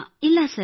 ಇಲ್ಲ ಸರ್